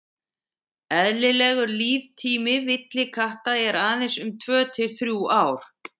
eðlilegur líftími villikatta er aðeins um tvö til þrjú ár